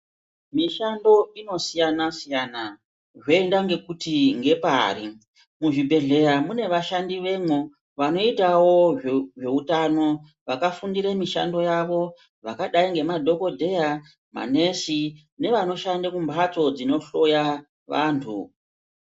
Mishando inosiyanasiyana zvoenda ngekuti ngepari muzvibhehleya mune vashandi vemwo vanoitawo zveutano vakafundire mishando yavo vakadai ngemadhokodheya, manesi nevanoshande kumbatso dzinohloya vantu.